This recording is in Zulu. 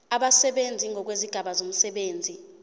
abasebenzi ngokwezigaba zomsebenzi